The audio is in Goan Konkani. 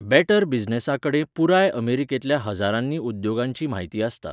बॅटर बिझनेसाकडेन पुराय अमेरिकेंतल्या हज्जारांनी उद्येगांची म्हायती आसता.